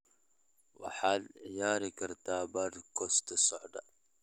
waxaad ciyaari kartaa podcast-ka soo socda